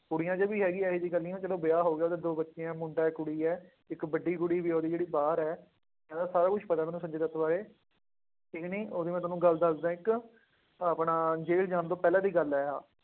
ਕੁੜੀਆਂ ਚ ਵੀ ਹੈਗੀ ਹੈ ਇਹ ਜਿਹੀ ਗੱਲ ਨੀ ਆ, ਚਲੋ ਵਿਆਹ ਹੋ ਗਿਆ ਉਹਦੇ ਦੋ ਬੱਚੇ ਆ ਮੁੰਡਾ ਇੱਕ ਕੁੜੀ ਹੈ, ਇੱਕ ਵੱਡੀ ਕੁੜੀ ਵੀ ਉਹਦੀ ਜਿਹੜੀ ਬਾਹਰ ਹੈ, ਇਹਦਾ ਸਾਰਾ ਕੁਛ ਪਤਾ ਮੈਨੂੰ ਸੰਜੇ ਦੱਤ ਬਾਰੇ, ਇੱਕ ਨਾ ਉਹਦੀ ਮੈਂ ਤੁਹਾਨੂੰ ਗੱਲ ਦੱਸਦਾਂ ਇੱਕ, ਆਪਣਾ ਜੇਲ੍ਹ ਜਾਣ ਤੋਂ ਪਹਿਲਾਂ ਦੀ ਗੱਲ ਹੈ ਆਹ,